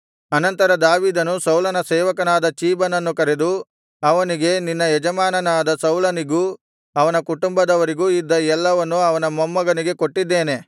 ಅನಂತರ ದಾವೀದನು ಸೌಲನ ಸೇವಕನಾದ ಚೀಬನನ್ನು ಕರೆದು ಅವನಿಗೆ ನಿನ್ನ ಯಜಮಾನನಾದ ಸೌಲನಿಗೂ ಅವನ ಕುಟುಂಬದವರಿಗೂ ಇದ್ದ ಎಲ್ಲವನ್ನು ಅವನ ಮೊಮ್ಮಗನಿಗೆ ಕೊಟ್ಟಿದ್ದೇನೆ